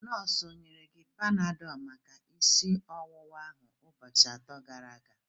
Nọọsụ onyere gị Panadol maka isi ọwụwa ahụ ụbọchị atọ gara aga?